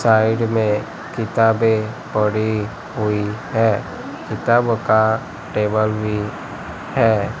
Side में किताबे पड़ी हुई है किताबो का टेबल भी है।